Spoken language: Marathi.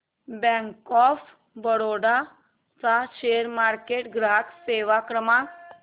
बँक ऑफ बरोडा चा शेअर मार्केट ग्राहक सेवा क्रमांक